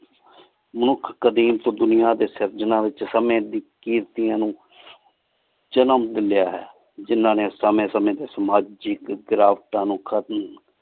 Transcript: ਮਨੁਖ ਕ਼ਾਦੀਮ ਤੋ ਦੁਨਿਯਾ ਡੀ ਸਰ੍ਚਨਾ ਵਿਚ ਸੰਯ ਨੂ ਜਨਮ ਲਿਲ੍ਯਾ ਹੈ ਜਿਨਾਹ ਨੀ ਸੰਯ ਸੰਯ ਡੀ ਸਮਾਜਿਕ ਗ੍ਰਾਵ੍ਤਾਂ ਨੂ